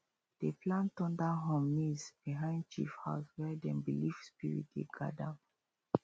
dem plant thunder horn maize behind chief house where dem believe spirit dey guard am